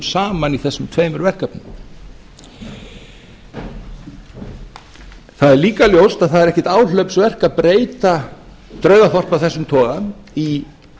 saman í þessum tveimur verkefnum það er líka ljóst að það er ekkert áhlaupsverk að breyta draugaþorpi af þessum toga í